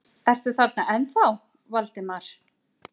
Ertu þarna ennþá, Valdimar?